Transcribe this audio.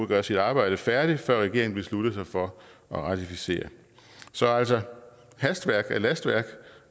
gøre sit arbejde færdigt før regeringen beslutter sig for at ratificere altså hastværk er lastværk